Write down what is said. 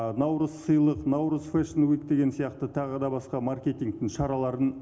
наурыз сыйлық наурыз фейшн вуд деген сияқты тағы да басқа маркетингтің шараларын